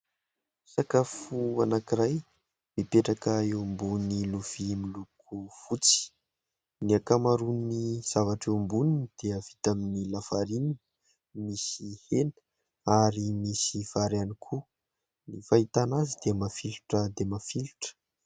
Sakafo anankiray mipetraka eo ambony lovia miloko fotsy, ny ankamaroan'ny zavatra eo amboniny dia vita amin'ny lafarinina, misy hena ary misy vary ihany koa, ny fahitana azy dia mafilotra dia mafilotra.